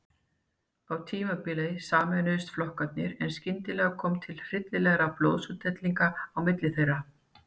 Á tímabili sameinuðust flokkarnir en stundum kom til hryllilegra blóðsúthellinga á milli þeirra.